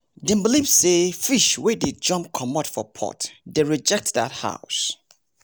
dem believe say fish wey dey jump comot for pot dey reject dat house